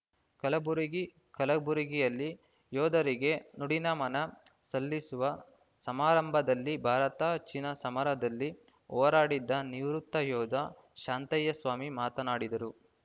ಕಲಬುರಗಿ ಕಲಬುರಗಿಯಲ್ಲಿ ಯೋಧರಿಗೆ ನುಡಿನಮನ ಸಲ್ಲಿಸುವ ಸಮಾರಂಭದಲ್ಲಿ ಭಾರತ ಚೀನಾ ಸಮರದಲ್ಲಿ ಹೋರಾಡಿದ್ದ ನಿವೃತ್ತ ಯೋಧ ಶಾಂತಯ್ಯ ಸ್ವಾಮಿ ಮಾತನಾಡಿದರು